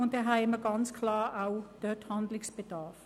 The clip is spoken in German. Und so besteht dort ganz klar ein Handlungsbedarf.